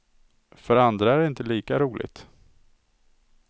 För andra är det inte lika roligt.